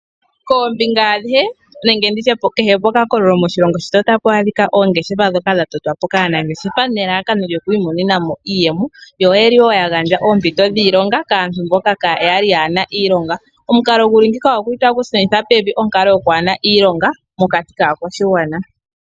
Koombinga andihe nenge nditye kehe pokakakolo moshilongo shetu otapu adhikwa oongeshefa dhoka dhatotwapo kaanangeshefa nelalakano lyokwiimonenamo iiyemo yo yeli woo yagandja oompito dhiilonga kaantu mboka kayali yaana iilonga. Omukalo guli ngiika oguli tagu shuninitha pevi onkalo yokwaana iilonga mokati kaakwashigwana.